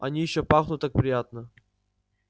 они ещё пахну так приятно